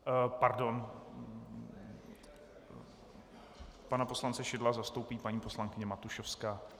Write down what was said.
- Pardon, pana poslance Šidla zastoupí paní poslankyně Matušovská.